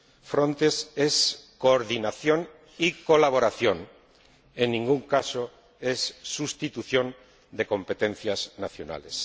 Frontex es coordinación y colaboración, en ningún caso es sustitución de competencias nacionales.